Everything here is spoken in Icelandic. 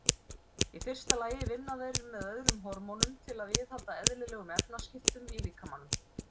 Í fyrsta lagi vinna þeir með öðrum hormónum til að viðhalda eðlilegum efnaskiptum í líkamanum.